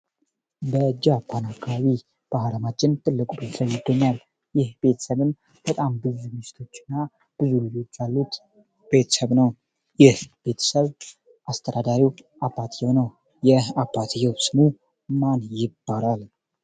ጃፓን አካባቢ በአለማችን ትልቁ ቤተሰብ ይገኛል፤ የቤተሰብም ብዙ ሚስቶችና ብዙ ልጆች ያሉት ቤተሰብ ነው ይህ ቤተሰብ አስተዳዳሪው አባትየው ነው። አባትየው ስሙ ማን ይባላል?